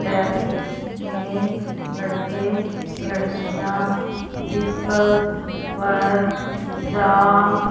traffic में लड़के लड़कियां व्हीकल्स पर जा--